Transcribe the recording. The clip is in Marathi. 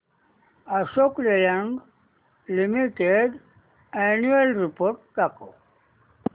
Ashok Leyland limited annual report दाखव